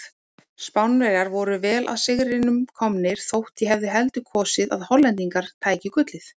Spánverjar voru vel að sigrinum komnir þótt ég hefði heldur kosið að Hollendingar tækju gullið.